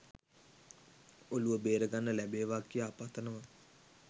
ඔලුව බෙර ගන්න ලැබේවා කියා පතනවා.